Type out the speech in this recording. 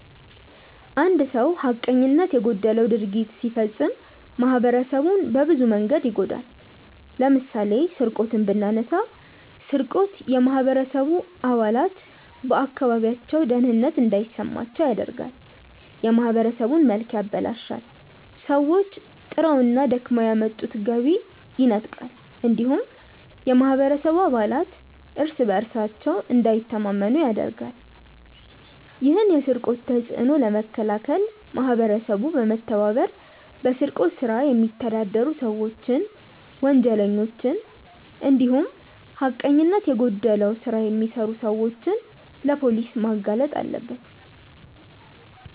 አንድ ሰው ሀቀኝነት የጎደለው ድርጊት ሲፈጽም ማህበረሰቡን በብዙ መንገድ ይጎዳል። ለምሳሌ ስርቆትን ብናነሳ ስርቆት የማህበረሰቡ አባላት በአካባቢያቸው ደህንነት እንዳይሰማቸው ያደርጋል፣ የማህበረሰቡን መልክ ያበላሻል፣ ሰዎች ጥረውና ደክመው ያመጡትን ገቢ ይነጥቃል እንዲሁም የማህበረሰቡ አባላት እርስ በእርሳቸው እንዳይተማመኑ ያደርጋል። ይህን የስርቆት ተጽዕኖ ለመከላከል ማህበረሰቡ በመተባበር በስርቆት ስራ የሚተዳደሩ ሰዎችን፣ ወንጀለኞችን እንዲሁም ሀቀኝነት የጎደለው ስራ የሚሰሩ ሰዎችን ለፖሊስ ማጋለጥ አለበት።